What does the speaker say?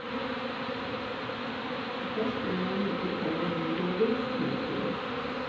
Først om noen uker kommer byrådets innstilling.